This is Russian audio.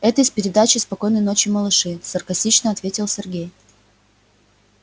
это из передачи спокойной ночи малыши саркастично ответил сергей